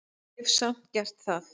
Hef samt gert það.